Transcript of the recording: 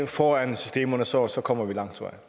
foran systemerne så så kommer vi langt